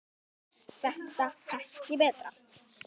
er þetta ekki betra?